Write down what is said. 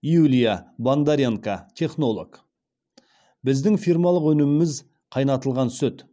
юлия бондаренко технолог біздің фирмалық өніміміз қайнатылған сүт